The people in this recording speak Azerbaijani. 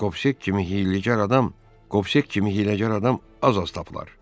Qopsek kimi hiyləgər adam, Qopsek kimi hiyləgər adam az-az tapılar.